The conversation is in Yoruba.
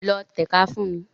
Lọ tẹ̀ka fún mi!